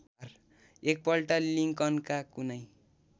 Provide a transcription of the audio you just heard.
एकपल्ट लिंकनका कुनै